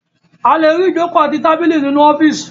A le rí ìjókòó àti tábìlì nínú ọ́fíísì.